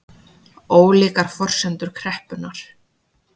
Ólíkar forsendur kreppunnar